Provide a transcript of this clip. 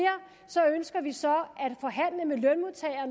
ønsker vi så